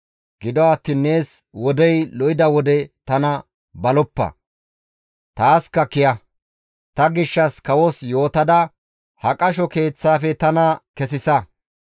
Gido attiin nees wodey lo7ida wode tana baloppa; taaska kiya; ta gishshas kawos yootada ha qasho keeththaafe tana kesisa;